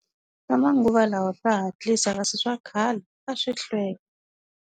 Swa manguva lawa swa hatlisa kasi swa khale a swi hlwela.